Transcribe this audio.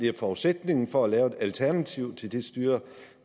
er forudsætningen for at lave et alternativ til det styre